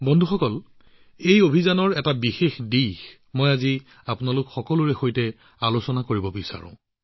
বন্ধুসকল এই অভিযানৰ এটা দিশ আছিল যিটো আজি আপোনালোক সকলোৰে সৈতে বিশেষভাৱে আলোচনা কৰিব বিচাৰিছো